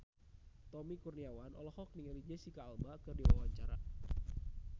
Tommy Kurniawan olohok ningali Jesicca Alba keur diwawancara